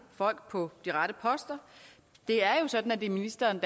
folk på de rette poster det er jo sådan at det er ministeren